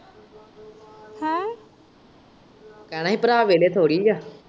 ਕਹਿਣਾ ਹੀ ਭਰਾ ਵਿਹਲ਼ੇ ਥੋੜ੍ਹੀ ਏ।